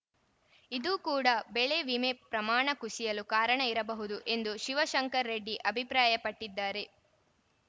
ಇದೂ ಕೂಡ ಬೆಳೆ ವಿಮೆ ಪ್ರಮಾಣ ಕುಸಿಯಲು ಕಾರಣ ಇರಬಹುದು ಎಂದು ಶಿವಶಂಕರರೆಡ್ಡಿ ಅಭಿಪ್ರಾಯ ಪಟ್ಟಿದ್ದಾರೆ